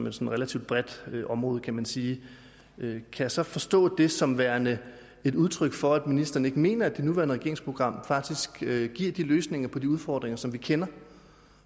et relativt bredt område kan man sige kan jeg så forstå det som værende et udtryk for at ministeren ikke mener at det nuværende regeringsprogram faktisk giver de løsninger på de udfordringer som vi kender